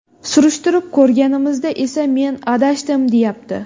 Surishtirib ko‘rganimizda esa men adashdim, deyapti.